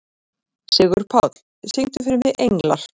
Sigurpáll, syngdu fyrir mig „Englar“.